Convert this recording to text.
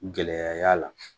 Gɛlɛya y'a la